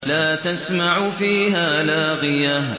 لَّا تَسْمَعُ فِيهَا لَاغِيَةً